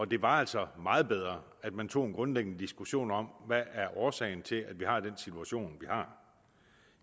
det var altså meget bedre at man tog en grundlæggende diskussion om hvad er årsagen til at vi har den situation vi har